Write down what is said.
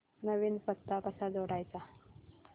नवीन पत्ता कसा जोडायचा